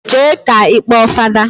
Jee ka ikpọ fada